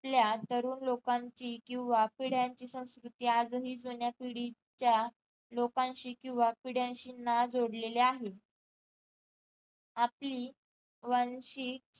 आपल्या तरुण लोकांची किंवा पिढ्यांची संस्कृती अजूनही जुन्या पिढीच्या लोकांशी किंवा पिढ्यांशी नाळ जोडलेली आहे आपली वंशी